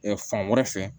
fan wɛrɛ fɛ